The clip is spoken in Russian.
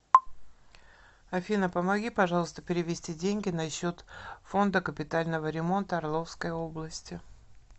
афина помоги пожалуйста перевести деньги на счет фонда капитального ремонта орловской области